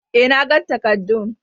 eh, nagan takarddun.